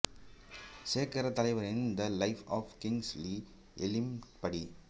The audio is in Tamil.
சேக்கரே தலைவரின் த லைப் ஆஃப் கிங்ஸ்லி ஏமிஸின் படி